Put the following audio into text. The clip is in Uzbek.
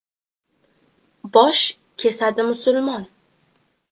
Bosh kesadi musulmon?